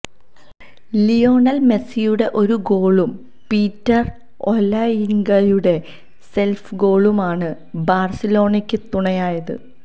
Lionel മെസിയുടെ ഒരു ഗോളും പീറ്റര് ഒലയിങ്കയുടെ സെല്ഫ് ഗോളുമാണ് ബാഴ്സലോണയ്ക്ക് തുണയായത്